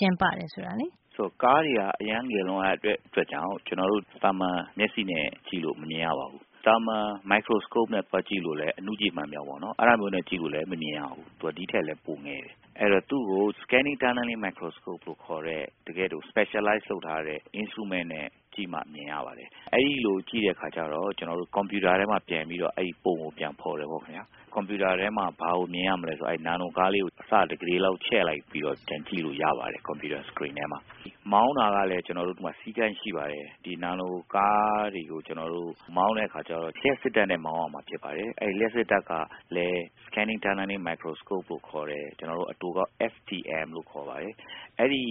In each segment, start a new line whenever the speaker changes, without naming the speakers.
ကျင်းပတယ် ဆိုတာ ရှင်းပြ
ပေး ပါ။ ကားတွေက အရမ်းငယ်လွန်းတဲ့အတွက်ကြောင့် ကျနော်တို့ သာမှန်မျက်စိ နဲ့ ကြည့်လို့ မမြင်ရပါဘူး။ သာမှန် Microscope နဲ့ သွားကြည့်လို့ လည်း မမြင်ရပါဘူး။ သူက ဒီထက်လည်း ပိုငယ်တယ်။ အဲဒီတော့ သူ့ကို Scanning Tunneling Microscope လို့ခေါ်တဲ့ တကယ့်ကို Specialized လုပ်ထားတဲ့ Instrument နဲ့ ကြည့်မှ မြင်ရပါတယ်။ အဲဒီလို ကြည့်တဲ့ အခါကျတော့ ကျနော်တို့ ကွန်ပြူတာ ထဲမှာ ပြန်ပြီးတော့ အဲဒီပုံကို ပြန်ဖော်တယ်ပေါ့ ခင်ဗျား။ ကွန်ပြူတာထဲမှာ ဘာကိုမြင်ရမလဲ ဆိုတော့ အဲဒီ နာနိုကားလေးကို အဆ တစ်ကုဋေလောက် ချဲ့ လိုက်ပြီးတော့ ပြန်ကြည့်လို့ရပါတယ်။ ကွန်ပြူတာ Screen ထဲမှာ။ မောင်းတာကလည်း သူ့မှာ စည်းကမ်းရှိပါတယ်။ ဒီ နာနိုကားတွေကို ကျနော် တို့ မောင်းတဲ့အခါကျတော့ လျှပ်စစ်ဓါတ်နဲ့ မောင်းရ မှာ ဖြစ်ပါတယ်။ အဲဒီ လျှပ်စစ် ဓါတ်ကလည်း Scanning Tunneling Microscope လို့ခေါ်တဲ့၊ ကျနော်တို့ အတိုကောက် FTM လို့ ခေါ်ပါတယ်၊ အဲဒီ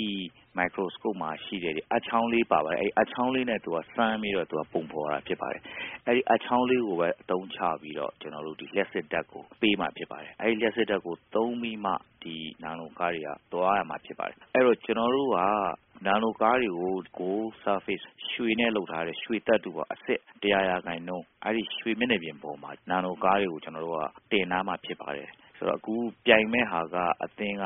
Microscope မှာရှိတဲ့ အပ်ချောင်းလေး ပါပါတယ်၊ အဲဒီ အပ်ချောင်းလေးနဲ့ သူက စမ်းပြီးတော့ ပုံဖော်တာ ဖြစ်ပါတယ်။ အဲဒီ အပ်ချောင်းလေးကိုပဲ အသုံးချပြီးတော့ ကျနော်တို့ ဒီ လျှပ်စစ်ဓါတ်ကို ပေးမှာ ဖြစ်ပါ တယ်။ အဲဒီ လျှပ်စစ်ဓါတ်ကို သုံးပြီးမှ ဒီ နာနိုကားတွေက သွားရ မှာ ဖြစ်ပါတယ်။ အဲဒီတော့ ကျနော်တို့က နာနိုကားတွေကို Gold Surface ရွှေနဲ့လုပ်ထား တဲ့၊ ရွှေသတ္ထုပေါ့၊ အစစ် ၁၀၀ ရာခိုင်နှုန်း၊ အဲဒီ ရွှေမျက်နှာပြင်ပေါ်မှာ ကျနော်တို့က တင်ထားမှာ ဖြစ်ပါတယ်။ ဆိုတော့ အခုပြိုင်မယ့်ဟာက အသင်းက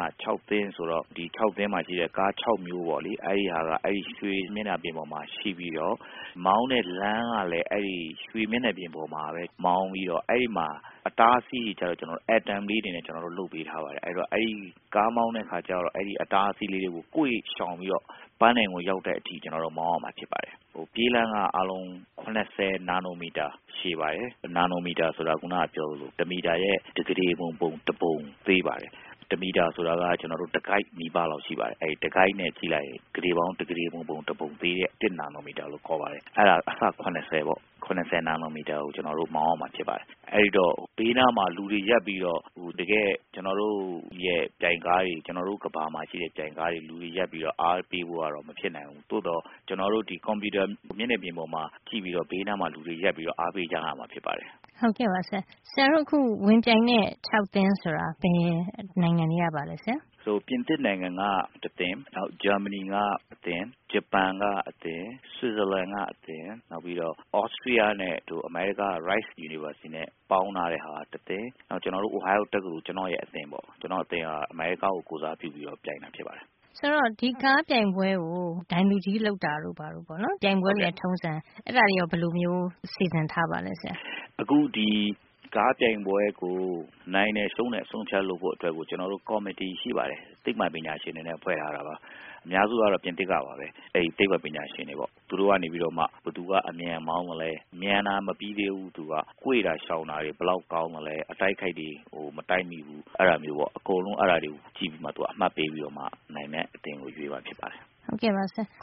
သင်း ဆိုတော့ ဒီ ၆ သင်းမှာရှိတဲ့ ကား ၆ မျိုးပေါ့လေ၊ အဲဒီရွှေမျက်နှာပြင်ပေါ်မှာ ရှိပြီးတော့ မောင်းတဲ့ လမ်း ကလဲ အဲဒီ ရွှေမျက်နှာပြင်ပေါ်မှာပဲ မောင်းပြီးတော့ အဲဒီမှာ အတားအဆီးတွေ ကျတော့ Atom လေးတွေနဲ့ ကျနော်တို့ လုပ်ပေးထား ပါတယ်။ အဲဒီတော့ ကားမောင်းတဲ့အခါကျတော့ အဲဒီ အတားအဆီးလေးတွေ ကို ကွေ့ရှောင်ပြီးတော့ ပန်းတိုင်ကိုရောက်တဲ့ အထိ မောင်းရမှာ ဖြစ်ပါ တယ်။ ပြေးလမ်းက အားလုံး ၇၀ နာနိုမီတာ ရှည်ပါတယ်။ နာနိုမီတာဆိုတာ ခုနကပြောသလို တမီတာရဲ့ တစ်ကုဋေပုံ တစ်ပုံ သေးပါတယ်။ တမီတာဆိုတာက ကျနော်တို့ တစ်ကိုက် နီးပါးလောက် ရှိပါတယ်။ တစ်ကိုက်နဲ့ ကြည့်လိုက်ရင် ကုဋေပေါင်း တစ်ကုဋေပုံ တစ်ပုံသေး တဲ့ တစ်နာနိုမီတာလို့ ခေါ်ပါတယ်။ အဲဒါ အဆ ၇၀ ပေါ့၊ ၇၀ နာနိုမီတာ ကို မောင်းရမှာ ဖြစ်ပါတယ်။ အဲဒီတော့ ဘေးနားမှာ လူတွေရပ်ပြီးတော့ တကယ့် ကျနော်တို့ ကမ္ဘာမှာရှိတဲ့ ပြိုင်ကားတွေ လို လူတွေအားပေးဖို့ကတော့ မဖြစ်နိုင်ဘူး။ သို့သော် ကျနော်တို့ ဒီ ကွန်ပြူတာ မျက်နှာပြင်ပေါ်မှာကြည့်ပြီးတော့ ဘေးနားမှာ လူတွေရပ်ပြီးတော့ အားပေး ကြရမှာ ဖြစ်ပါတယ်
။ ဆရာတို့အခု ဝင်ပြိုင်တဲံ သင်းဆိုတာ ဘယ်နိုင်ငံတွေကပါလဲ ဆရာ။
ပြင်သစ်နိုင်ငံက တသင်း၊ ဂျာမနီက အသင်း၊ ဂျပန်က အသင်း၊ ဆွစ်ဇာလန်က အသင်း၊ နောက်ပြီးတော့ သြစတီးယားနဲ့ အမေရိကန်က Rice University ပေါင်းထား တဲ့ဟာက တသင်း၊ နောက် ကျနော်တို့ Ohio တက္ကသိုလ်၊ ကျနော့်ရဲ့အသင်းပေါ့။ ကျနော့်အသင်းက အမေရိကားကို ကိုယ်စားပြုပြီးတော့ ပြိုင်တာဖြစ်ပါတယ်
။ ဆိုတော့ ဒီကားပြိုင်ပွဲကို ဒိုင်လူကြီးလုပ်တာတို့ ဘာတို့ပေါ့နော်၊ ပြိုင်ပွဲတွေရဲ့ ထုံးစံ၊ အဲဒါတွေရော ဘယ်လိုမျိုး စီစဉ်ထားပါသလဲဆရာ
။ အခု ဒီကားပြိုင်ပွဲကို နိုင်တယ်၊ ရှုံးတယ် အဆုံးအဖြတ်လုပ်ဖို့အတွက်ကို ကျနော် တို့ ကော်မီတီရှိပါတယ်။ သိပ္ပံပညာရှင်တွေနဲ့ ဖွဲ့ထားတာပါ။ အများစု ကတော့ ပြင်သစ် ကပါပဲ။ အဲဒီ သိပ္ပံပညာရှင်တွေပေါ့။ သူတို့ကနေပြီးတော့ မှ ဘယ်သူက အမြန်မောင်း သလဲ၊ မြန်တာ မပြီးသေးဘူး သူက၊ ကွေ့တာ ရှောင် တာတွေ ဘယ်လောက်ကောင်း သလဲ၊ အတိုက်အခိုက်တွေ ဟို မတိုက်မိဘူး၊ အဲဒါမျိုးပေါ့။ အကုန်လုံး အဲဒါတွေကို ကြည့်ပြီးတော့မှ သူက အမှတ်ပေးပြီးတော့ မှ နိုင်တဲ့အသင်းကို ရွ
ေးမှာ ဖြစ်ပါတယ်။ အ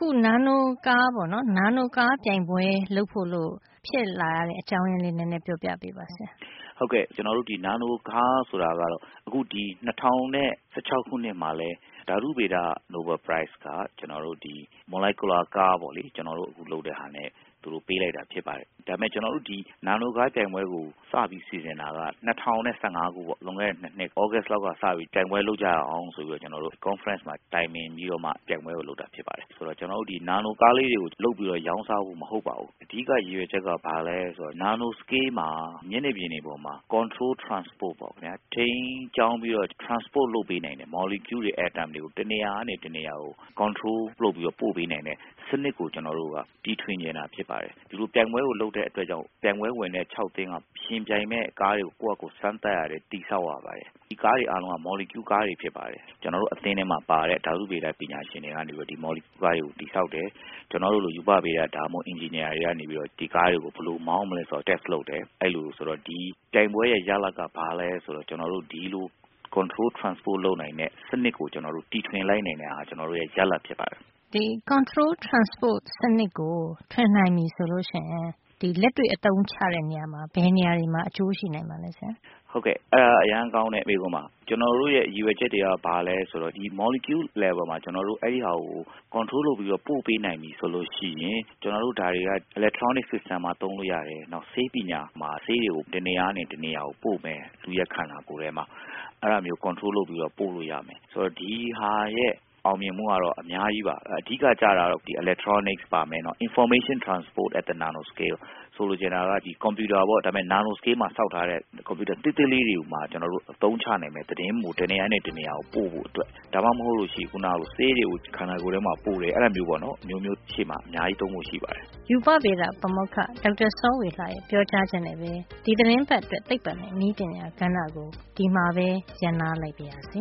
ခု နာနိုကားပြိုင်ပွဲလုပ်ဖို့လို့ ဖြစ်လာရတဲ့ အကြောင်းရင်းလေး နဲနဲ ပြောပြပေးပါ ဆရာ
။ ဟုတ်ကဲ့၊ ကျနော်တို့ ဒီနာနိုကားဆိုတာကတော့ အခု ဒီ ၂၀၁၆ ခုနှစ်မှာ လည်း ဓါတုဗေဒ နိုဘဲလ်ဆုက ကျနော်တို့ ဒီ Molecular Car ပေါ့လေ၊ ကျနော်တို့ အခု လုပ်တဲ့ဟာနဲ့ သူတို့ ပေးလိုက်တာ ဖြစ်ပါတယ်။ ဒါပေမယ့် ကျနော်တို့ ဒီ နာနို ကားပြိုင်ပွဲ ကို စပြီး စီစဉ်တာက ၂၀၁၅ ခုပေါ့၊ လွန်ခဲ့တဲ့နှစ် သြဂုတ်လလောက် ကစပြီး ပြိုင်ပွဲလုပ်ကြရအောင်ဆိုပြီးတော့ ကျနော်တို့ ကွန်ဖရန့်မှာ တိုင်ပင်ပြီးတော့ မှ ပြိုင်ပွဲကို လုပ်တာ ဖြစ်ပါတယ်။ ဆိုတော့ ကျနော်တို့ ဒီ နာနိုကားလေးတွေကိုလုပ်ပြီးတော့ ရောင်း စားဖို့ မဟုတ်ပါဘူး။ အဓိက ရည်ရွယ်ချက်က ဘာလဲဆိုတော့ နာနို စကေး မှာ မျက်နှာပြင်တွေပေါ်မှာ Control Transport ပေါ့ခင်ဗျား၊ ထိန်းကျောင်းပြီးတော့ Transport လုပ်ပေးနိုင်တဲ့ Molecule တွေ၊ Atom တွေကို တနေရာကနေ တနေရာကို Control လုပ်ပြီးတော့ ပို့ပေးနိုင်တဲ့ စံနစ်ကို ကျနော်တို့ က တီထွင်ချင်တာ ဖြစ်ပါတယ်။ ဒီလို ပြိုင်ပွဲကို လုပ်တဲ့အတွက်ကြောင့် ပြိုင်ပွဲဝင်တဲ့ သင်းက ယှဉ်ပြိုင်မယ့် ကားတွေ ကို ကိုယ့်ဟာကို စမ်းသပ်ရတယ်၊ တည်ဆောက်ရပါတယ်။ ဒီကားတွေ အားလုံးက Molecule ကားတွေ ဖြစ်ပါတယ်။ ကျနော်တို့ အသင်းထဲမှာပါတဲ့ ဓါတုဗေဒ ပညာ ရှင်တွေကနေပြီးတော့ ဒီ Molecule ပိုင်းကို တည်ဆောက်တယ်။ ကျနော်တို့လို ရူပဗေဒ၊ ဒါမှမဟုတ် အင်ဂျင်နီယာတွေကနေ ပြီးတော့ ဒီကားတွေ ကို ဘယ်လိုမောင်း မလဲဆိုတာ Test တယ်။ ဒီပြိုင်ပွဲရဲ့ ရလဒ်ကဘာလဲဆိုတော့ ကျနော်တို့ ဒီလို Control Transport လုပ်နိုင် တဲ့ စံနစ်ကို ကျနော်တို့ တိထွင်လိုက်နိုင်တာဟာ ကျနော်တို့ရဲ့ ရလဒ်ဖြစ်ပါတယ်
။ ဒီ Control Transport စံနစ်ကို ထွင်နိုင်ပြီဆိုလို့ရှိရင် လက်တွေ့အသုံးချ တဲ့နေရာမှာ ဘယ်နေရာတွေမှာ အကျိုးရှိနိုင်ပါသလဲ ဆရာ
။ ဟုတ်ကဲ့၊ အဲဒါက အရမ်းကောင်းတဲ့ မေးခွန်းပါ။ ကျနော်တို့ရဲ့ ရည်ရွယ် ချက်တွေ က ဘာလဲဆိုတော့ ဒီ Molecule Level မှာ ကျနော်တို့ အဲဒီဟာကို Control လုပ်ပြီးတော့ ပို့ပေးနိုင်ပြီဆိုလို့ရှိရင် ကျနော်တို့ ဒါတွေက Electronic System တွေမှာ သုံးလို့ရတယ်၊ နောက် ဆေးပညာမှာ ဆေးတွေကို တနေရာ ကနေ တနေရာကို ပို့မယ်၊ လူ့ရဲ့ ခန္ဓာကိုယ်ထဲမှာ။ အဲဒါမျိုး Control လုပ်ပြီးတော့ ပို့လို့ရမယ်။ ဆိုတော့ ဒီဟာ ရဲ့ အောင်မြင်မှုကတော့ အများကြီးပါ။ အဓိကကျတာ ကတော့ Electronic ပါမယ်၊ Information transport at the Nano scale ၊ ဆိုလိုချင်တာက ကွန်ပြူတာပေါ့၊ ဒါပေမယ့် နာနို Scale မှာ ဆောက်ထားတဲ့ ကွန်ပြူတာ သေးသေးလေးတွေကိုမှ ကျနော်တို့ အသုံးချနိုင်မယ်၊ သတင်းကို တနေရာကနေ တနေရာကို ပို့ဖို့အတွက်၊ ဒါမှမဟုတ်လို့ရှိရင် ခုနကလို ဆေးတွေ ကို ခန္ဓာကိုယ်ထဲမှာ ပို့တယ်။ အဲဒါမျိုးပေါ့နော် အမျိုးမျိုး ရှေ့မှာသုံးဖို့ရှိပါတယ်
။ ရူပဗေဒပါမောက္ခ ဒေါက်တာစောဝေလှရဲ့ ပြောကြားချက်နဲ့ပဲ ဒီသီတင်းပတ်အတွက် သိပ္ပံနဲ့ နည်းပညာကဏ္ဍကို ဒီမှာပဲ ရပ်နားလိုက်ပါရစေ